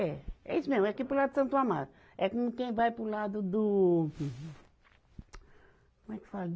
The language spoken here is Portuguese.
É, é isso mesmo, é aqui para o lado de Santo Amaro, é como quem vai para o lado do... Como é que fala?